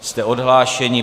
Jste odhlášeni.